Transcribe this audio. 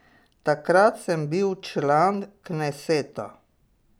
Takrat sem bil član kneseta.